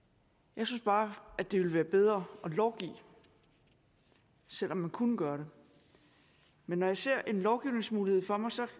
jeg synes bare at det ville være bedre at lovgive selv om man kunne gøre det men når jeg ser en lovgivningsmulighed for mig ser